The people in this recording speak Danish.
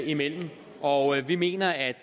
imellem og vi mener at